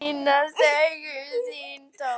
Mér sýnast augu þín tóm.